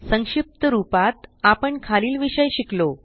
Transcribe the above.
संक्षिप्त रूपात आपण खालील विषय शिकलो